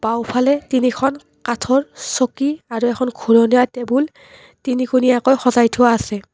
বাওঁফালে তিনিখন কাঠৰ চকী আৰু এখন ঘূৰণীয়া টেবুল তিনিকুণীয়াকৈ সজাই থোৱা আছে।